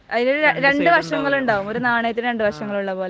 അതിനു രണ്ടു വശങ്ങൾ ഉണ്ടാകും. ഒരു നാണയത്തിന് രണ്ട് വശങ്ങൾ ഉള്ളപോലെ.